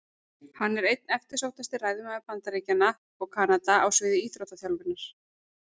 Hann er einn eftirsóttasti ræðumaður Bandaríkjanna og Kanada á sviði íþróttaþjálfunar.